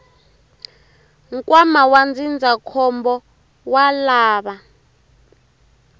nkwama wa ndzindzakhombo wa lava